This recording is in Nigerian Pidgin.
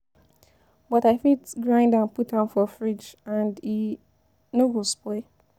But I fit grind am put am for fridge and e no go spoil.